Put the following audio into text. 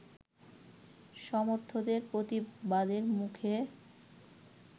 সমর্থদের প্রতিবাদের মুখে